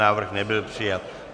Návrh nebyl přijat.